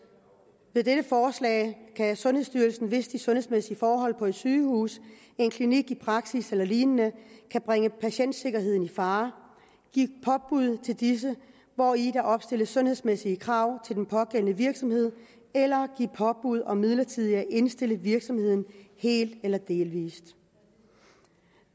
med dette forslag kan sundhedsstyrelsen hvis de sundhedsmæssige forhold på et sygehus en klinik en praksis eller lignende kan bringe patientsikkerheden i fare give påbud til disse hvori der opstilles sundhedsmæssige krav til den pågældende virksomhed eller give påbud om midlertidigt at indstille virksomheden helt eller delvis